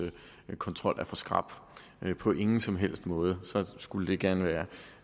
kontrol er for skrap på ingen som helst måde så skulle det gerne